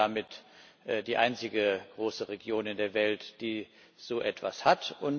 Wir sind damit die einzige große Region in der Welt, die so etwas hat.